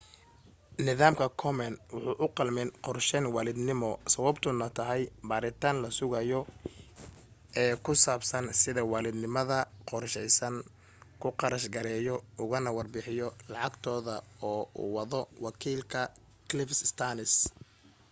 nidaamka komen wuxuu uqalmin qorsheyn waalidnimo sababtuna tahay baaritaan la sugayo ee ku saabsan sida waalidnimada qorsheysan ku kharash gareeyo ugana warbixiyo lacagtooda oo uu wado wakiilka cliff stearns